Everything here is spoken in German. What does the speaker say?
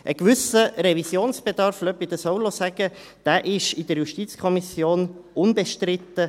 Ein gewisser Revisionsbedarf – lassen Sie mich dies auch noch sagen – war in der JuKo unbestritten.